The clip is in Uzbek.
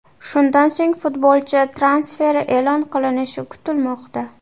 Shundan so‘ng futbolchi transferi e’lon qilinishi kutilmoqda.